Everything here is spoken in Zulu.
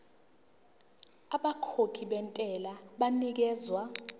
abakhokhi bentela banikezwa